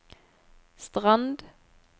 Strand